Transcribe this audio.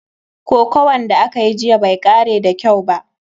Kokuwan da akayi jiya bai kare da kyau ba.